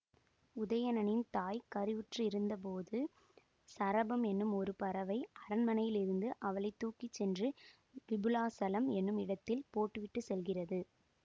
உதயணனின் தாய் கருவுற்று இருந்தபோது சரபம் என்னும் ஒரு பறவை அரண்மனையில் இருந்து அவளை தூக்கி சென்று விபுலாசலம் என்னும் இடத்தில் போட்டு விட்டு செல்கிறது